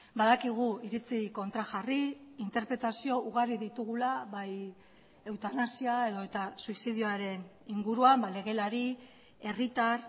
badakigu iritzi kontrajarri interpretazio ugari ditugula bai eutanasia edota suizidioaren inguruan legelari herritar